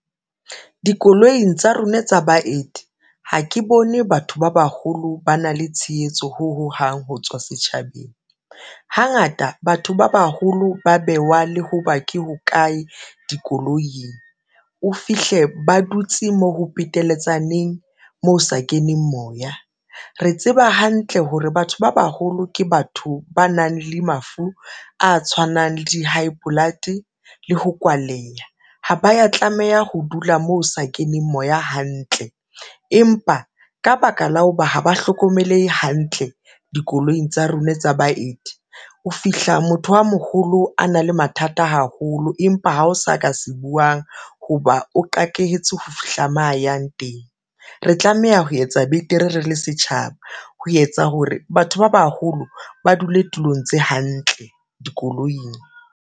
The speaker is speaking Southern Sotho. Dikoloing tsa rona tsa baeti, ha ke bone batho ba baholo ba na le tshehetso ho hohang ho tswa setjhabeng. Hangata batho ba baholo ba bewa le ho ba ke hokae dikoloing, o fihle ba dutse moo ho peteletsaneng moo ho sa keneng moya. Re tseba hantle hore batho ba baholo ke batho ba nang le mafu a tshwanang le di-high blood le ho kwaleya ha ba ya tlameha ho dula moo o sa keneng moya hantle empa ka baka la ho ba ha ba hlokomelehe hantle dikoloing tsa rona tsa baeti. O fihla motho a moholo a na le mathata haholo empa ha o sa ka se buang, hoba o qakehetse ho fihla mo a yang teng. Re tlameha ho etsa betere re le setjhaba ho etsa hore batho ba baholo ba dule tulong tse hantle dikoloing.